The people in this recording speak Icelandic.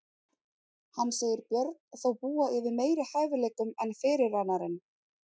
Hann segir Björn þó búa yfir meiri hæfileikum en fyrirrennarinn.